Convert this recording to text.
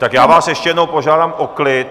Tak já vás ještě jednou požádám o klid!